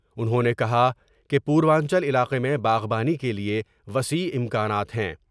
انہوں نے کہا کہ پوروانچل علاقے میں باغبانی کے لئے وسیع امکانات ہیں ۔